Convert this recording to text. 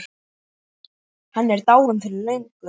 Hann er dáinn fyrir löngu.